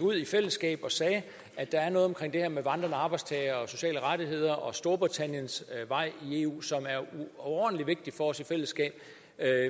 ud i fællesskab og sagde at der er noget omkring det her med vandrende arbejdstagere og sociale rettigheder og storbritanniens vej i eu som er overordentlig vigtigt for os i fællesskab